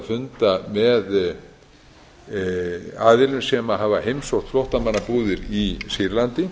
funda með aðilum sem hafa heimsótt flóttamannabúðir í sýrlandi